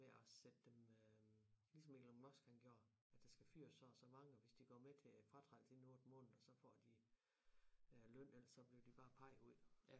Ved at sætte dem øh ligesom Elon Musk han gjorde at der skal fyres så og så mange og hvis de går med til fratrædelse inden 8 måneder så får de øh løn ellers så bliver de bare peget ud